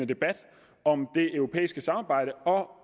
debat om det europæiske samarbejde og